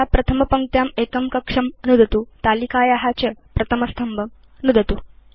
यथा प्रथमपङ्क्त्यां एकं कक्षं नुदतु तालिकाया च प्रथमस्तम्भं नुदतु